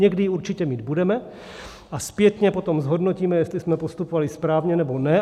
Někdy ji určitě mít budeme a zpětně potom zhodnotíme, jestli jsme postupovali správně, nebo ne.